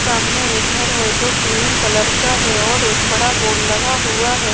सामने एक घर है जो क्रीम कलर का है और एक बड़ा बोर्ड लगा हुआ है।